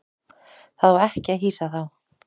Það á ekki að hýsa þá.